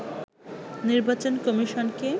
নির্বাচন কমিশনকে